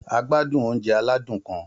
A gbádùn oúnjẹ aládùn kan